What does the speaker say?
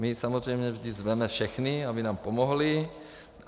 My samozřejmě vždy zveme všechny, aby nám pomohli.